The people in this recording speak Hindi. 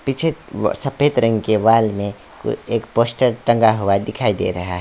पीछे व सफेद रंग के वॉल में कोई एक पोस्टर टंगा हुआ दिखाई दे रहा है।